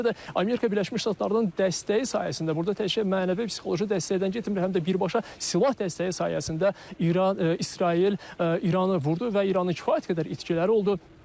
Eləcə də Amerika Birləşmiş Ştatlarının dəstəyi sayəsində, burda təkcə mənəvi-psixoloji dəstəkdən getmir, həm də birbaşa silah dəstəyi sayəsində İran İsrail İranı vurdu və İranın kifayət qədər itkiləri oldu.